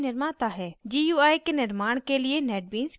gui के निर्माण के लिए netbeans क्या प्रदान करता है